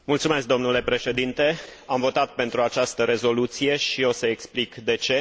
Domnule Președinte, am votat pentru această rezoluție și o să explic de ce.